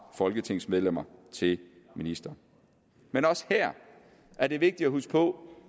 folketingsmedlemmer til ministre men også her er det vigtigt at huske på